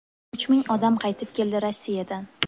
Uch ming odam qaytib keldi Rossiyadan.